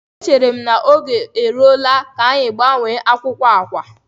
Echere m na oge eruola ka anyị gbanwee akwụkwọ akwa a.